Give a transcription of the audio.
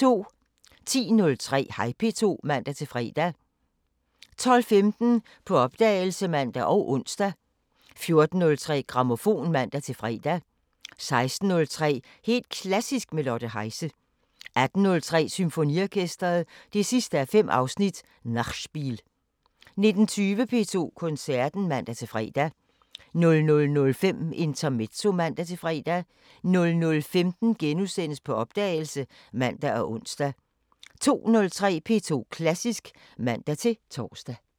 10:03: Hej P2 (man-fre) 12:15: På opdagelse (man og ons) 14:03: Grammofon (man-fre) 16:03: Helt Klassisk med Lotte Heise 18:03: Symfoniorkesteret 5:5 – Nachspiel 19:20: P2 Koncerten (man-fre) 00:05: Intermezzo (man-fre) 00:15: På opdagelse *(man og ons) 02:03: P2 Klassisk (man-tor)